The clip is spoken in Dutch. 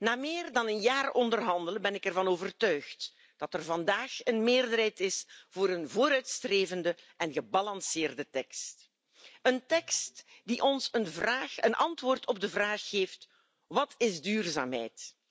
Na meer dan een jaar onderhandelen ben ik ervan overtuigd dat er vandaag een meerderheid is voor een vooruitstrevende en evenwichtige tekst, een tekst die ons een vraag en antwoord op de vraag geeft wat is duurzaamheid?